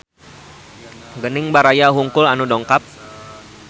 Gening baraya wungkul anu dongkap